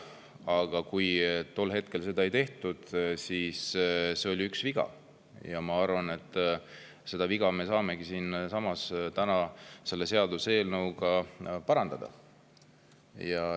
Aga kui tollal seda ei tehtud, siis see oli viga, ja ma arvan, et seda viga me saamegi täna siinsamas selle seaduseelnõuga parandada.